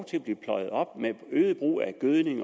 til blev pløjet op med øget brug af gødning